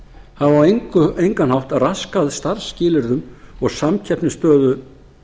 hafa á engan hátt raskað starfsskilyrðum og samkeppnisstöðu